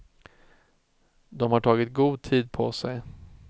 De har tagit god tid på sig.